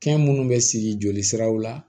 Fɛn minnu bɛ siri joli siraw la